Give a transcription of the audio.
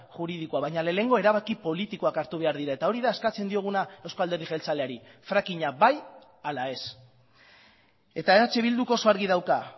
juridikoa baina lehenengo erabaki politikoak hartu behar dira eta hori da eskatzen dioguna euzko alderdi jeltzaleari frakinga bai ala ez eta eh bilduk oso argi dauka